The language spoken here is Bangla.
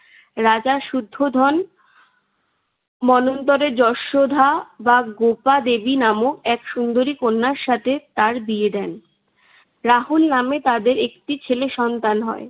রাজা শুদ্ধোধন মন্বন্তরের যষোধা বা গোপাদেবী নামক এক সুন্দরী কন্যার সাথে তার বিয়ে দেন। রাহুল নামে তাদের একটি ছেলে সন্তান হয়।